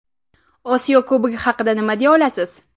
Osiyo Kubogi haqida nima deya olasiz?